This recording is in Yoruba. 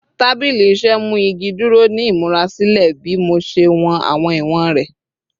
Tabili iṣẹ mu igi duro ni imurasilẹ bi mo ṣe wọn awọn iwọn rẹ